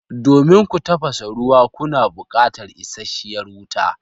Domin ku tafasa ruwa kuna buƙatar isashshiyar wuta.